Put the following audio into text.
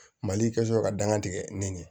Mali ka sɔrɔ ka danga tigɛ nin ye